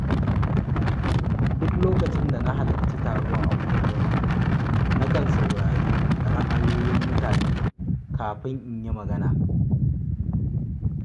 Duk lokacin da na halarci taro a unguwarmu, nakan saurari ra’ayoyin mutane kafin in yi magana.